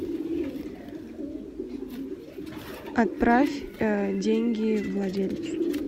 отправь деньги владельцу